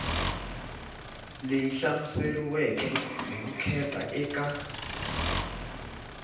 leyi hlamuseriweke hi vukheta eka